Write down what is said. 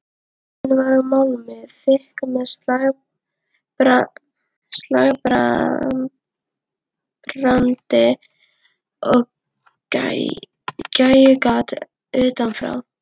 Hurðin var úr málmi, þykk með slagbrandi og gægjugati utanfrá.